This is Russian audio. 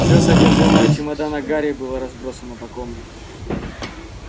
все содержимое чемодана гарри было разбросано по комнате